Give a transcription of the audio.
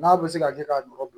N'a bɛ se ka kɛ k'a nɔgɔ don